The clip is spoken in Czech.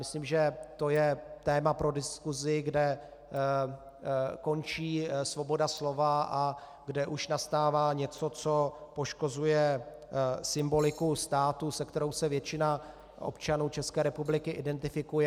Myslím, že to je téma pro diskusi, kde končí svoboda slova a kde už nastává něco, co poškozuje symboliku státu, se kterou se většina občanů České republiky identifikuje.